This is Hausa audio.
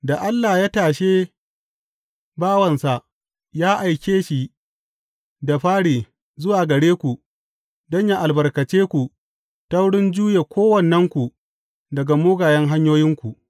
Da Allah ya tashe bawansa, ya aike shi da fari zuwa gare ku don yă albarkace ku ta wurin juye kowannenku daga mugayen hanyoyinku.